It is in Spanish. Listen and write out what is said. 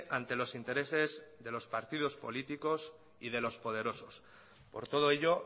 ante los intereses de los partidos políticos y de los poderosos por todo ello